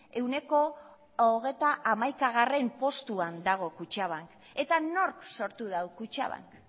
hogeita hamaikagarrena postuan dago kutxabank eta nork sortu du kutxabank